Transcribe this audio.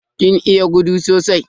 Kin iya gudu sosai?